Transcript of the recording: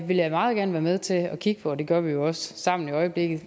vil jeg meget gerne være med til at kigge på og det gør vi jo også sammen i øjeblikket